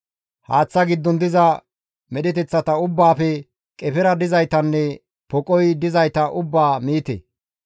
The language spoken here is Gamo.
Haaththa giddon diza medheteththa ubbaafe qefera dizaytanne poqoy dizayta ubbaa miite.